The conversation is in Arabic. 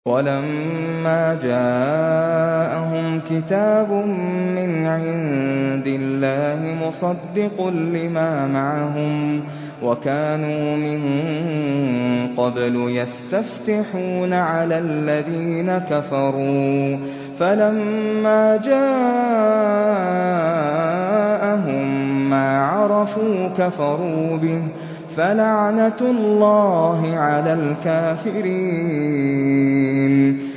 وَلَمَّا جَاءَهُمْ كِتَابٌ مِّنْ عِندِ اللَّهِ مُصَدِّقٌ لِّمَا مَعَهُمْ وَكَانُوا مِن قَبْلُ يَسْتَفْتِحُونَ عَلَى الَّذِينَ كَفَرُوا فَلَمَّا جَاءَهُم مَّا عَرَفُوا كَفَرُوا بِهِ ۚ فَلَعْنَةُ اللَّهِ عَلَى الْكَافِرِينَ